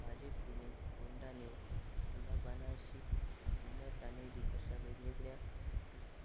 भाजे पुणे कोंडाणे कुलाबानाशिक जुन्नर कान्हेरी अशा वेगवेगळ्या